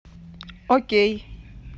окей